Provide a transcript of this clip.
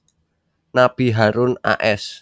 Nabi Harun a s